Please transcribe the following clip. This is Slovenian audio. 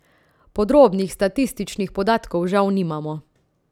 Podrobnih statističnih podatkov žal nimamo.